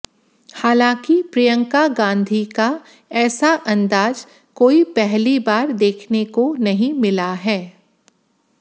हालांकि प्रियंका गांधी का ऐसा अंदाज कोई पहली बार देखने को नहीं मिला है